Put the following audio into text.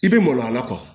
I bɛ maloya a la